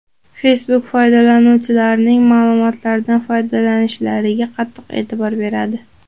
Facebook foydalanuvchilarining ma’lumotlaridan foydalanishlariga qattiq e’tibor beradi.